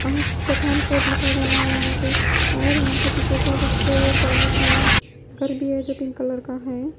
अंक पठान कोट लिखा गया है यहाँ पे और यहाँ पे पीछे साइड एक बड़ा सा घर भी है जो पिंक कलर का है।